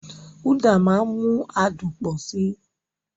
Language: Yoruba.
Uda máa ń mú adùn pọ̀ sí i.